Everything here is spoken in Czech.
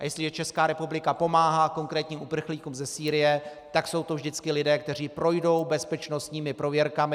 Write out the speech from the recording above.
A jestliže Česká republika pomáhá konkrétním uprchlíkům ze Sýrie, tak jsou to vždycky lidé, kteří projdou bezpečnostními prověrkami.